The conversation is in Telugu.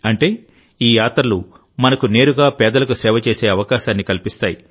అంటేఈ యాత్రలు మనకు నేరుగా పేదలకు సేవ చేసే అవకాశాన్ని కల్పిస్తాయి